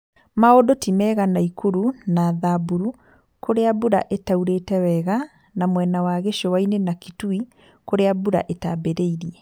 Maũndũ ti mega Nakoro na Thamburu kũrĩa mbura ĩtaurĩte wega na mwena wa gĩcũa-inĩ na Kitui kũrĩa mbura itambĩrĩirie